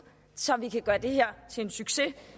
så vi kan gøre det her til en succes